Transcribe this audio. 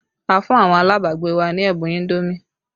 A fún àwọn alabagbe wa ní ẹ̀bùn indomi